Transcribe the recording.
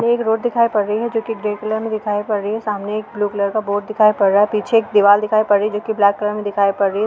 एक रोड दिखाई पड़ रही है जोकि ग्रे कलर में दिखाई पड़ रही है। सामने एक ब्लू कलर का बोर्ड दिखाई पड़ रहा है। पीछे एक दीवाल दिखाई पड़ रही है जोकि ब्लैक कलर में दिखाई पड़ रही है।